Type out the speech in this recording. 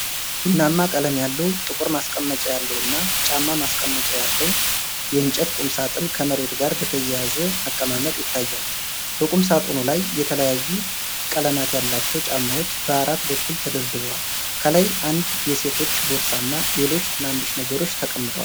ቡናማ ቀለም ያለው፣ ጥቁር ማስቀመጫ ያለው እና ጫማ ማስቀመጫ ያለው የእንጨት ቁምሳጥን ከመሬት ጋር በተያያዘ አቀማመጥ ይታያል። በቁምሳጥኑ ላይ የተለያዩ ቀለማት ያላቸው ጫማዎች በአራት በኩል ተደርድረዋል፤ ከላይ አንድ የሴቶች ቦርሳ እና ሌሎች ትናንሽ ነገሮች ተቀምጠዋል።